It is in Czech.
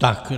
Tak.